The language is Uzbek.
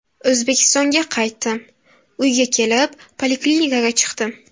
O‘zbekistonga qaytdim Uyga kelib, poliklinikaga chiqdim.